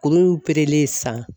Kuru in operelen sisan